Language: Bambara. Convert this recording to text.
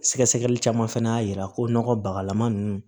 Sɛgɛsɛgɛli caman fana y'a yira ko nɔgɔ bagalaman ninnu